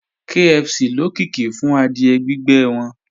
KFC lókìkí fún adìẹ gbígbẹ́ wọn